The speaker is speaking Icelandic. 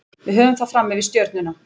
Við höfum það fram yfir Stjörnuna.